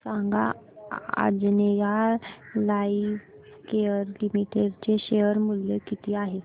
सांगा Anjaneya lifecare limited चे share मूल्य किती आहे